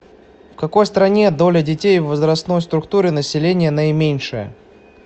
в какой стране доля детей в возрастной структуре населения наименьшая